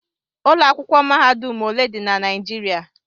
Ụlọ akwụkwọ mahadum ole dị na Naijiriia?